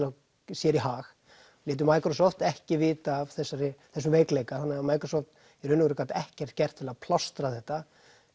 sér í hag létu ekki vita af þessum veikleika þannig að Microsoft í raun og veru gat ekkert gert til að plástra þetta